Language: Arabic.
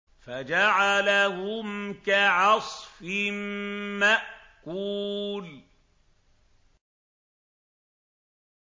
فَجَعَلَهُمْ كَعَصْفٍ مَّأْكُولٍ